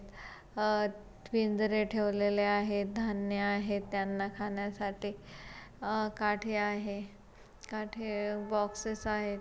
अह पिंजरे ठेवलेले आहेत धान्य आहे त्यांना खाण्यासाठी अ काठे आहे काठी बॉक्सेस आहेत.